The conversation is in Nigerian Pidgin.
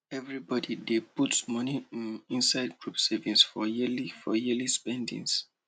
everybody dey put money um inside group savings for yearly for yearly spendings